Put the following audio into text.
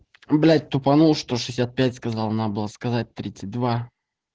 блять тупанул сто шестьдесят пять сказал надо было сказать тридцать два